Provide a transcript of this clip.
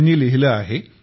त्यांनी लिहिले आहे